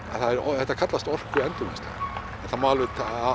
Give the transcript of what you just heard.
þetta kallast orkuendurvinnsla það má alveg